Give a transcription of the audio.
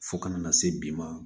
Fo ka na se bi ma